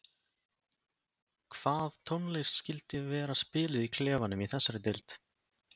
Hvað tónlist skyldi vera spiluð í klefanum í þessari deild?